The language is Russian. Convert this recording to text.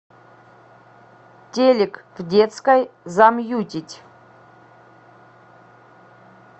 телек в детской замьютить